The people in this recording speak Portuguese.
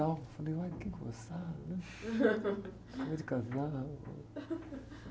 Falei, olha, que gozado, né? Cama de casal.